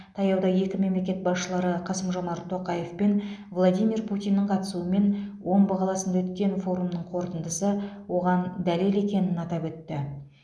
таяуда екі мемлекет басшылары қасым жомарт тоқаев пен владимир путиннің қатысуымен омбы қаласында өткен форумның қорытындысы оған дәлел екенін атап өтті